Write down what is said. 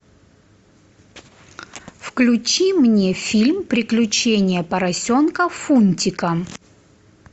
включи мне фильм приключения поросенка фунтика